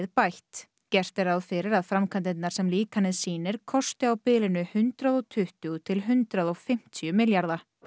bætt gert er ráð fyrir að framkvæmdirnar sem líkanið sýnir kosti á bilinu hundrað og tuttugu til hundrað og fimmtíu milljarða það